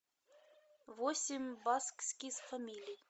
восемь баскских фамилий